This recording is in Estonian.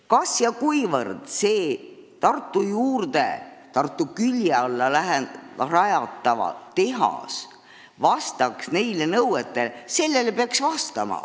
Mil määral see Tartu külje alla rajatav tehas vastaks nendele nõuetele, sellele peaks vastama.